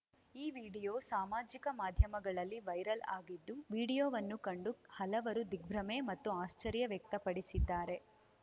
ಈ ವಿಡಿಯೋ ಸಾಮಾಜಿಕ ಮಾಧ್ಯಮಗಳಲ್ಲಿ ವೈರಲ್‌ ಆಗಿದ್ದು ವಿಡಿಯೋವನ್ನು ಕಂಡು ಹಲವರು ದಿಗ್ಭ್ರಮೆ ಮತ್ತು ಆಶ್ಚರ್ಯ ವ್ಯಕ್ತಪಡಿಸಿದ್ದಾರೆ